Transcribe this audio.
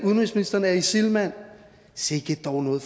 udenrigsministeren er isil mand sikke dog noget